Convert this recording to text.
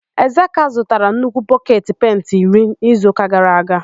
Ezeka zụtara nnukwu bọketi penti iri n'izuụka gara aga.